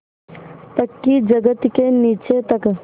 पक्की जगत के नीचे तक